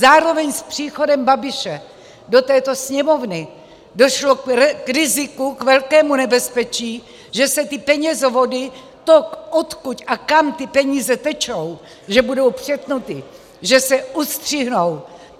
Zároveň s příchodem Babiše do této Sněmovny došlo k riziku, k velkému nebezpečí, že se ty penězovody, to, odkud a kam ty peníze tečou, že budou přetnuty, že se ustřihnou.